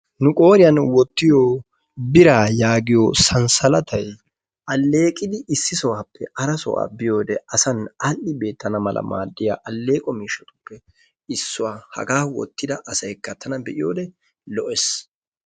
Nu qooriyan wottiyo biiraa yaagiya sansalatay alleeqidi issi sohuwaappe hara sohuwaa biyode asan aadhdhi beettena mala maaddiya alleeqo miishatuppe issuwa. Hagaa wottida asayikka tana be"iyode lo"ees.